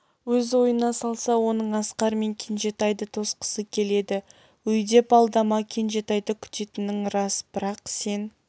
өз ойына салса оның асқар мен кенжетайды тосқысы келеді өйдеп алдама кенжетайды күтетінің рас бірақ сен